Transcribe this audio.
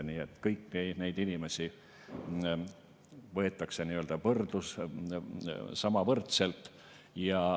Nii et kõiki neid inimesi võetakse võrdselt.